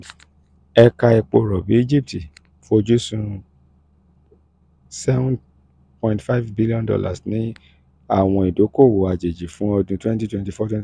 ẹka epo rọbi egypt fojusun seven point five billion dollars ni awọn idoko-owo ajeji fun ọdún twenty twenty